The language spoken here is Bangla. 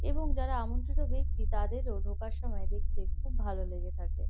এবং যারা আমন্ত্রিত ব্যাক্তি তাদেরও ঢোকার সময় দেখতে খুব ভালো লেগে থাকে।